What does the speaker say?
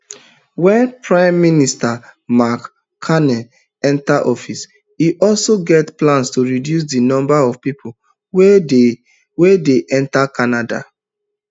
wen pm mark carney enta office e also get plan to reduce di number of pipo wey dey wey dey enta canada